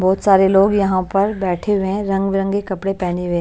बहुत सारे लोग यहां पर बैठे हुए हैं रंगबिरंगे कपड़े पहने हुए हैं।